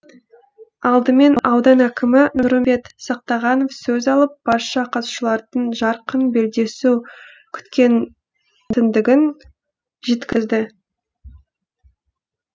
алдымен аудан әкімі нұрымбет сақтағанов сөз алып барша қатысушылардан жарқын белдесу күтетіндігін жеткізді